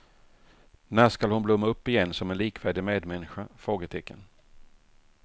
När skall hon blomma upp igen som en likvärdig medmänniska? frågetecken